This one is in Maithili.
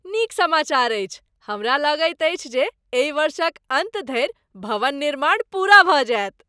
नीक समाचार अछि, हमरा लगैत अछि जे एहि वर्षक अन्त धरि भवन निर्माण पूरा भऽ जाएत।